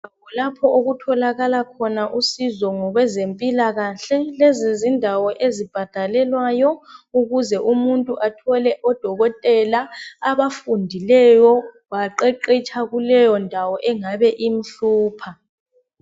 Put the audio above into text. Lapho okutholakala khona usizo ngokwezempilakahle lezindawo ezibhadalelwayo ukuze umuntu athole odokotela abafundileyo baqheqhetsha kuleyo ndawo engabe imhlupha.